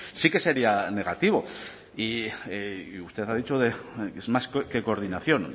sí que sería negativo y usted ha dicho que es más que coordinación